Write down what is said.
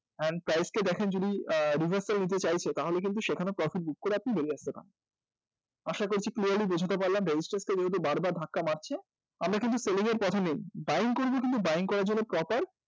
and price কে দেখেন যদি revarsal নিতে চাইছে তাহলে সেখানেও কিন্তু profit book করে আপনি বেরিয়ে আসতে পারেন আশা করছি clear? ly বোঝাতে পারলাম resistance কে যেহেতু বারবার ধাক্কা মারছে আমরা কিন্তু selling এর পথে নেই buying করার জন্য proper